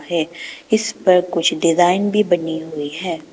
है इस पर कुछ डिजाइन भी बनी हुई है।